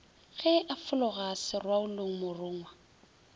ge a fologa serwaolong morongwa